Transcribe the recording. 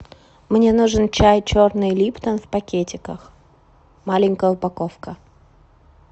мне нужен чай черный липтон в пакетиках маленькая упаковка